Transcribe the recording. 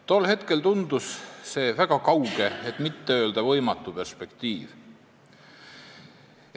Tol hetkel tundus see väga kauge, kui mitte öelda võimatu perspektiiv.